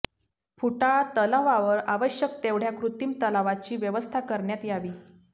फुटाळा तलावावर आवश्यक तेवढ्या कृत्रिम तलावाची व्यवस्था करण्यात यावी